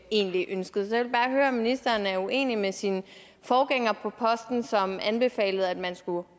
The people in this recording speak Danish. egentlig ønskede så jeg vil bare høre om ministeren er uenig med sin forgænger på posten som anbefalede at man skulle